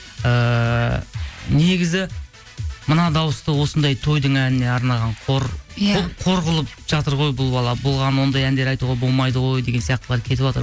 ііі негізі мына дауысты осындай тойдың әніне арнаған қор иә бұл қор қылып жатыр ғой бұл бала бұған бұндай әндер айтуға болмайды ғой деген сияқтылар кетіватыр